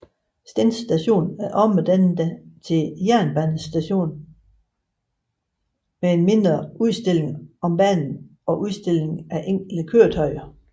Stend Station er omdannet til jernbanemuseum med en mindre udstilling om banen og udstilling af enkelte køretøjer